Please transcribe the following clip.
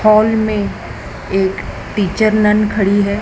Hall में एक pitcher nun खड़ी है।